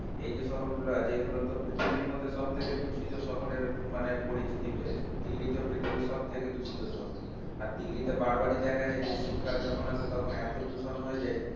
এই যে শহরগুলো আছে এগুলোতে পৃথিবীর মধ্যে সবথেকে দূষিত শহরের মানে পরিচিতি পেয়েছে দিল্লি তো পৃথিবীর সব থেকে দূষিত শহর আর দিল্লিতে বার বার এ দেখা যায় যে শীতকাল যখনই আসে তখন এত দূষণ হয়ে যায়